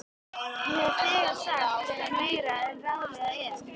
Ég hef þegar sagt þér meira en ráðlegt er.